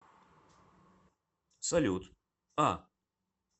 салют а